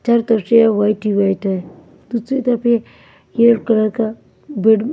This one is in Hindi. चारों तरफ से वाइट ही वाइट है दूसरी तरफ ये यलो कलर का--